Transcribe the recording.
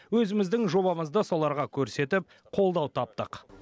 өзіміздің жобамызды соларға көрсетіп қолдау таптық